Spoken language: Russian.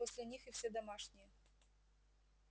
после них и все домашние